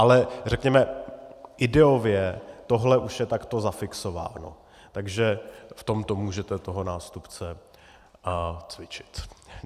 Ale řekněme ideově tohle už je takto zafixováno, takže v tomto můžete toho nástupce cvičit.